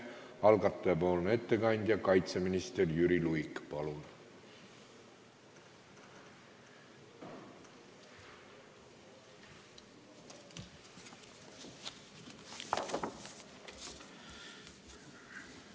Algatajapoolne ettekandja kaitseminister Jüri Luik, palun!